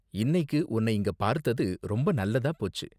இன்னைக்கு உன்ன இங்க பார்த்தது ரொம்ப நல்லதா போச்சு.